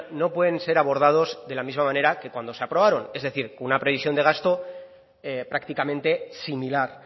no pueden ser abordados de la misma manera que cuando se aprobaron es decir con una previsión de gasto prácticamente similar